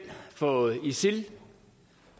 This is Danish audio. for isil